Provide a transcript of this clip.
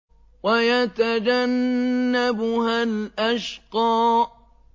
وَيَتَجَنَّبُهَا الْأَشْقَى